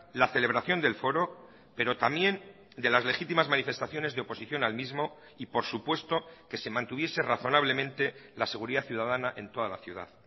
la celebración del foro pero también de las legitimas manifestaciones de oposición al mismo y por supuesto que se mantuviese razonablemente la seguridad ciudadana en toda la ciudad